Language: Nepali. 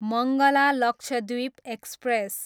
मङ्गला लक्षद्वीप एक्सप्रेस